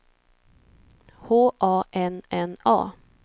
H A N N A